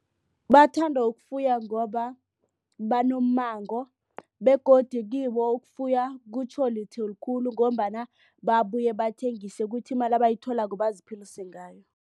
Bathanda ukufuya ngoba banommango begodu kibo ukufuya kutjho litho likhulu ngombana babuye bathengise ukuthi imali abayitholako baziphilise ngayo.